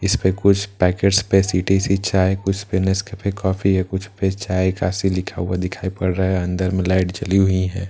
इस पे कुछ पैकेट्स पे सी_टी_सी चाय कुछ पे नेसकैफै कॉफी या कुछ पे चाय काफी लिखा हुआ दिखाई पड़ रहा है अंदर में लाइट जली हुई हैं।